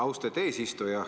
Austet eesistuja!